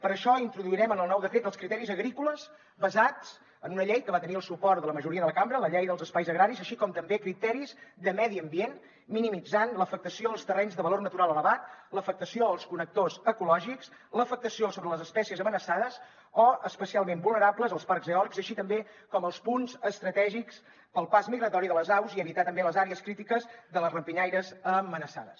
per això introduirem en el nou decret els criteris agrícoles basats en una llei que va tenir el suport de la majoria de la cambra la llei dels espais agraris així com també criteris de medi ambient minimitzant l’afectació als terrenys de valor natural elevat l’afectació als connectors ecològics l’afectació sobre les espècies amenaçades o especialment vulnerables als parcs eòlics així també com els punts estratègics pel pas migratori de les aus i evitar també les àrees crítiques de les rapinyaires amenaçades